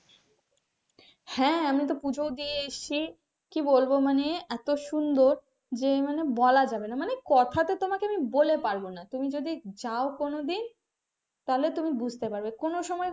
হ্যাঁ আমি তো পুজো ও দিয়ে এসেছি কি বলবো মানে এত সুন্দর যে মানে বলা যাবে না মানে কথা তো আমি বলে পারব না তুমি যদি যাও কোনদিন তাহলে তুমি বুঝতে পারবে কোনো সময় এ.